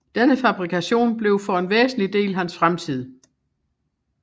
Denne fabrikation blev for en væsentlig del hans fremtid